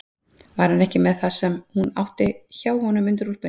Var hann ekki með það sem hún átti hjá honum undir úlpunni?